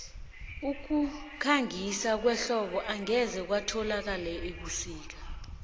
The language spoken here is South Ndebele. ukukhangisa kwehlobo angeze wakuthola ebusika